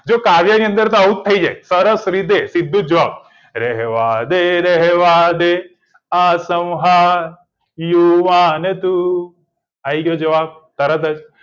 જો કાવ્યની અંદર તો આવું થઇ જાય સરસ રીતે સીધું જ રહેવાદે એ રહેવાદે આસ્મ્હાદ યુવાન તું આઈ ગયો જવાબ તરત જ